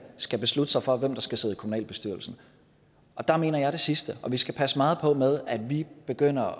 skal beslutte sig for hvem der skal sidde i kommunalbestyrelsen og der mener jeg det sidste vi skal passe meget på med at vi ikke begynder